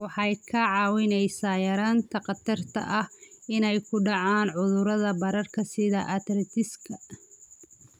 Waxay kaa caawinaysaa yaraynta khatarta ah inay ku dhacaan cudurrada bararka sida arthritis-ka.